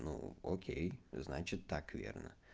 ну окей значит так верно